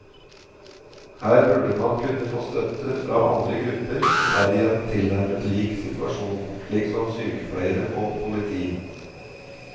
Her burde man kunne få støtte fra andre grupper som er i en tilnærmet lik situasjon, slik som sykepleiere og politi.